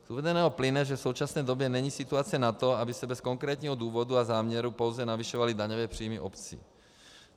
Z uvedeného plyne, že v současné době není situace na to, aby se bez konkrétního důvodu a záměru pouze navyšovaly daňové příjmy obcí.